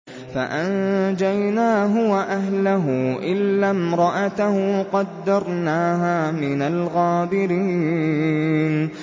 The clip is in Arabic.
فَأَنجَيْنَاهُ وَأَهْلَهُ إِلَّا امْرَأَتَهُ قَدَّرْنَاهَا مِنَ الْغَابِرِينَ